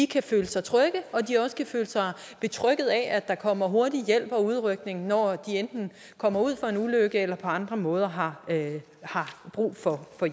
kan føle sig trygge og at de også kan føle sig betrygget af at der kommer hurtig hjælp og udrykning når de enten kommer ud for en ulykke eller på andre måder har brug for